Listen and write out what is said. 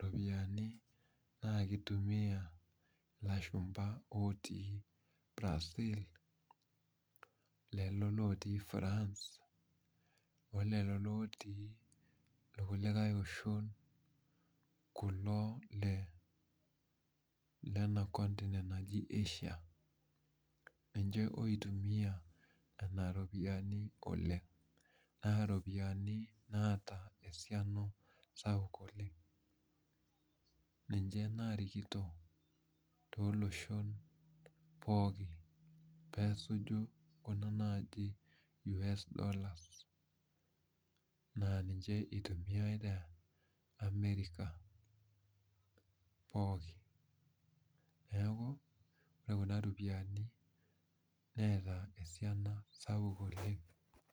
ropiyiani naa kitumia ilashumpa otii Brazil, lelo lotii France, o lelo lotii irkulikae oshon kulo le lena continent naji Asia. Ninche oitumia kuna ropiyiani oleng. Naa iropiyiani naata esiana sapuk oleng. Ninche naarikito tooloshon pooki peesuju kuna naaji US dollars naa ninche eitumiae te America pooki. Neeku, ore kuna ropiyiani neeta esiana sapuk oleng